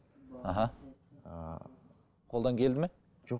аха қолдан келді ме жоқ